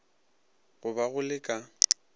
go ba go le ka